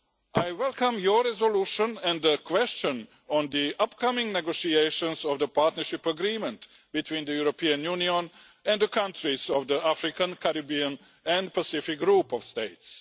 I welcome your resolution and the question on the upcoming negotiations of the partnership agreement between the European Union and the countries of the African, Caribbean and Pacific group of states.